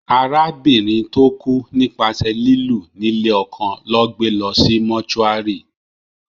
Arábìnrin tó kú nípasẹ̀ lílù ní lé ọkọ lọ́ gbé lọ sí mọ́túárì